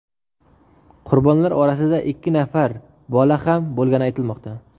Qurbonlar orasida ikki nafar bola ham bo‘lgani aytilmoqda.